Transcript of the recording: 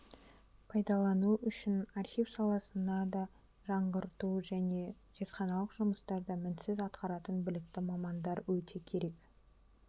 пайдалану үшін архив саласына да жаңғырту және зертханалық жұмыстарды мінсіз атқатаратын білікті мамандар өте керек